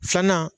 Filanan